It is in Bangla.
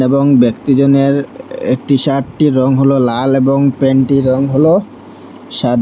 এবং ব্যক্তিজনের একটি শাটটি রং হলো লাল এবং প্যান্টটি রং হলো সাদা।